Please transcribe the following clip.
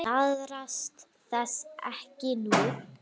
Iðrast þess ekki nú.